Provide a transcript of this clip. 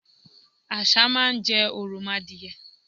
Àṣá má n jẹ òròmoadìye